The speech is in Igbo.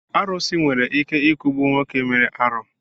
Arusi nwere ike I kugbu nwoke mere arụ